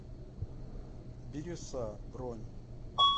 бирюса бронь